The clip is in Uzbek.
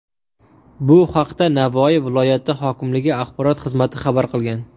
Bu haqda Navoiy viloyati hokimligi axborot xizmati xabar qilgan .